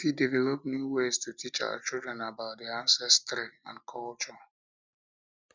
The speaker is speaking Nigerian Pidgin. we fit develop new ways to teach our children about their ancestry and culture um